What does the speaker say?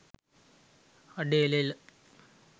අඩේ එල එල